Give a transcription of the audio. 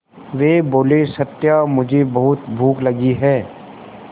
वे बोले सत्या मुझे बहुत भूख लगी है